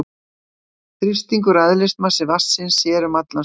Þrýstingur og eðlismassi vatnsins sér um allan stuðning.